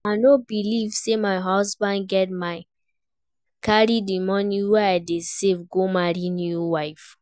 I no believe say my husband get mind carry the money wey I dey save go marry new wife